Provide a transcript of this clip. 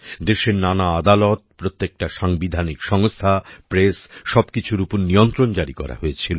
দেশের নানা আদালত প্রত্যেকটা সাংবিধানিক সংস্থা প্রেস সবকিছুর উপর নিয়ন্ত্রণ জারি করা হয়েছিল